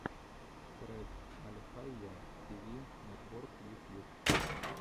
трек альхайя ти ви нетворк ютьюб